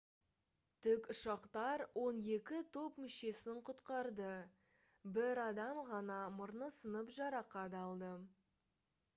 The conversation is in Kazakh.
тік ұшақтар он екі топ мүшесін құтқарды бір адам ғана мұрны сынып жарақат алды